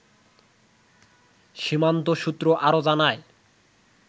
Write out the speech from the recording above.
সীমান্ত সূত্র আরো জানায়